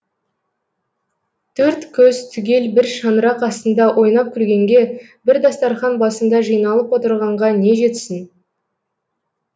төрт көз түгел бір шаңырақ астында ойнап күлгенге бір дастарқан басында жиналып отырғанға не жетсін